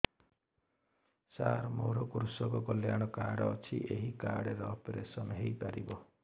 ସାର ମୋର କୃଷକ କଲ୍ୟାଣ କାର୍ଡ ଅଛି ଏହି କାର୍ଡ ରେ ଅପେରସନ ହେଇପାରିବ